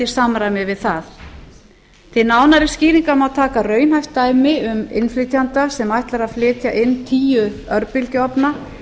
samræmi við það til nánari skýringa má taka raunhæft dæmi um innflytjanda sem ætlar að flytja inn tíu örbylgjuofna